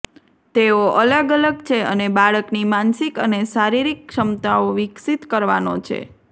તેઓ અલગ અલગ છે અને બાળકની માનસિક અને શારીરિક ક્ષમતાઓ વિકસિત કરવાનો છે